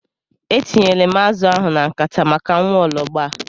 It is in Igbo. E tinyela m azụ ahụ na nkata maka nwaologbo a.